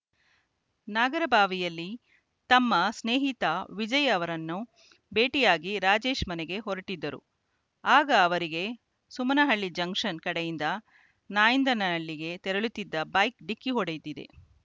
ನಾಗರಬಾವಿಯಲ್ಲಿ ತಮ್ಮ ಸ್ನೇಹಿತ ವಿಜಯ್‌ ಅವರನ್ನು ಭೇಟಿಯಾಗಿ ರಾಜೇಶ್‌ ಮನೆಗೆ ಹೊರಟ್ಟಿದ್ದರು ಆಗ ಅವರಿಗೆ ಸುಮನಹಳ್ಳಿ ಜಂಕ್ಷನ್‌ ಕಡೆಯಿಂದ ನಾಯಂದನ ಹಳ್ಳಿಗೆ ತೆರಳುತ್ತಿದ್ದ ಬೈಕ್‌ ಡಿಕ್ಕಿ ಹೊಡೆದಿದೆ